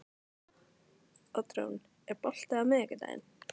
Oddrún, er bolti á miðvikudaginn?